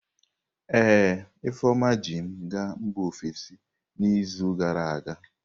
Ee, Ifeoma ji m gaa mba ofesi n'izu gara aga.